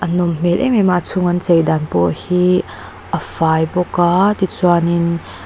nawm hmel em em a a chung an chei dan pawh hi a fai bawk a tichuanin--